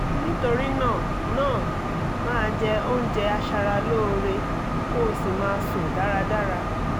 nítorí náà náà máa jẹ oúnjẹ aṣaralóore kó o sì máa sùn dáradára